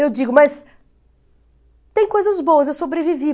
Eu digo, mas tem coisas boas, eu sobrevivi.